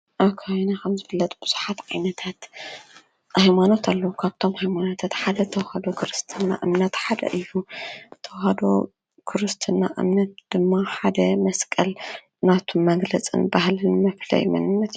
ኣብ ከባቢና ከም ዝፍለጥ ብዙሓት ዓይነታት ሃይማኖት ኣለዉ፡፡ ካብቶም ገይማኖታት ሓደ ተዋህዶ ክርስትና እምነት ሓደ እዩ፡፡ ተዋህዶ ክርስትና እምነት ድማ ሓደ መስቀል ናቱ መግለፅን ባህልን መፍለይ መንነት እዩ፡፡